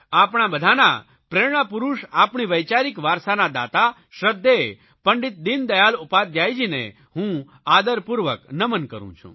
આપણા બધાના પ્રેરણાપુરૂષ આપણી વૈચારીક વારસાના દાતા શ્રધ્ધેય પંડિત દિનદયાળ ઉપાધ્યાયજીને હું આદરપૂર્વક નમન કરૂં છું